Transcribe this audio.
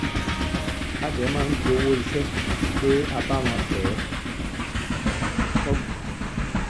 a dẹ máa gbowó iṣẹ́ pé a bá wọn bẹ́ ẹ sọ́gun